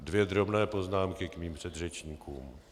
Dvě drobné poznámky k mým předřečníkům.